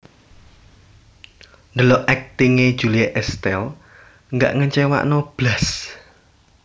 Ndelok akting e Julie Estelle gak ngecewano blas